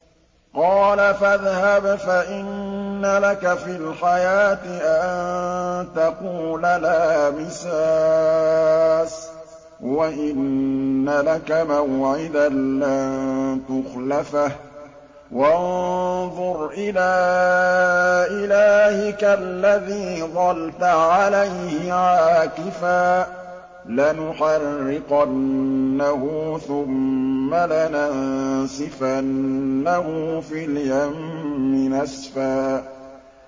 قَالَ فَاذْهَبْ فَإِنَّ لَكَ فِي الْحَيَاةِ أَن تَقُولَ لَا مِسَاسَ ۖ وَإِنَّ لَكَ مَوْعِدًا لَّن تُخْلَفَهُ ۖ وَانظُرْ إِلَىٰ إِلَٰهِكَ الَّذِي ظَلْتَ عَلَيْهِ عَاكِفًا ۖ لَّنُحَرِّقَنَّهُ ثُمَّ لَنَنسِفَنَّهُ فِي الْيَمِّ نَسْفًا